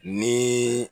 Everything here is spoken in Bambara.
Ni